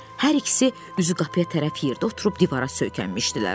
Hər ikisi üzü qapıya tərəf yerdə oturub divara söykənmişdilər.